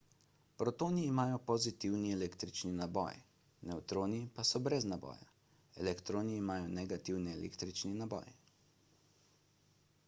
protoni imajo pozitivni električni naboj nevtroni pa so brez naboja elektroni imajo negativni električni naboj